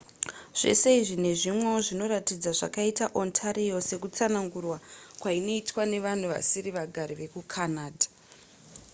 zvese izvi nezvimwewo zvinoratidza zvakaita ontario sekutsanangurwa kwainoitwa nevanhu vasiri vagari vekucanada